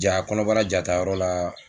Ja kɔnɔbara jaa ta yɔrɔ la.